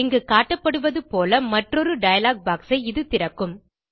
இங்கு காட்டப்படுவது போல மற்றொரு டயலாக் பாக்ஸ் ஐ இது திறக்கும்